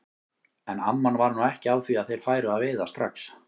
En amman var nú ekki á því að þeir færu að veiða strax.